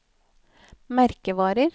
merkevarer